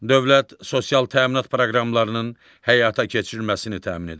Dövlət sosial təminat proqramlarının həyata keçirilməsini təmin edir.